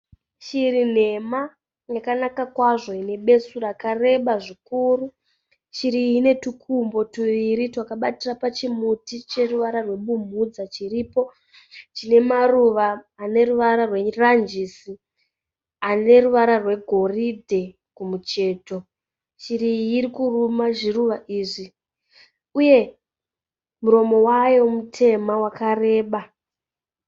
Shiri nhema yakanaka kwazvo inebesu rakareba zvikuru shiri iyi inetukumbo tuiri twakabatira pachimuti cheruvara rwebumhudza chiripo chine maruva ane ruvara rweranjisi aneruvara rwegoridhe kumucheto shiri iyi irikuruma zviruva izvi uye muromovayo mutema vakareba